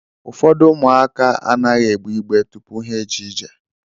Ụfọdụ ụmụaka anaghị egbé igbe tụpụ ha ejee ije.